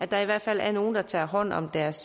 der i hvert fald er nogle der tager hånd om deres